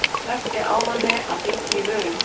Versti ávaninn að bíta í vörina